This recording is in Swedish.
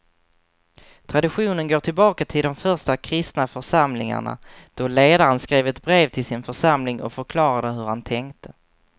Traditionen går tillbaka till de första kristna församlingarna då ledaren skrev ett brev till sin församling och förklarade hur han tänkte.